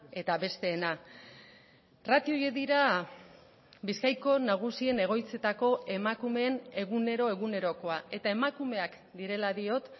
eta besteena ratio horiek dira bizkaiko nagusien egoitzetako emakumeen egunero egunerokoa eta emakumeak direla diot